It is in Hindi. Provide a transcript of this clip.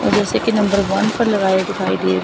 जैसे कि नंबर वन पर लगाई दिखाई दे रही--